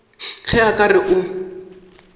ge a ka re o